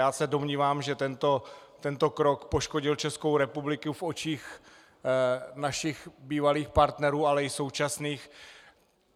Já se domnívám, že tento krok poškodil Českou republiku v očích našich bývalých partnerů, ale i současných.